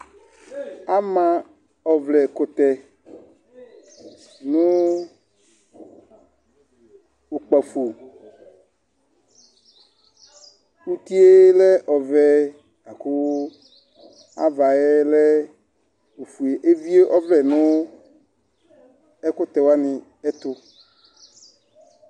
Amã ɔvlɛkutɛ nú ukpafo, utie lɛ ɔvɛ la ku avaɛ lɛ ofue, evié ɔvlɛ nu ɛkutɛwa ni ɛtù